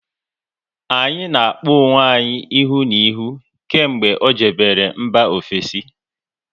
Anyị na-akpọ onwe anyị ihu na ihu kemgbe ọ jebere mba ofesi